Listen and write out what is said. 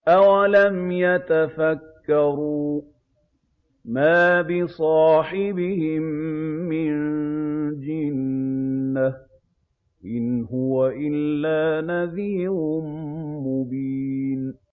أَوَلَمْ يَتَفَكَّرُوا ۗ مَا بِصَاحِبِهِم مِّن جِنَّةٍ ۚ إِنْ هُوَ إِلَّا نَذِيرٌ مُّبِينٌ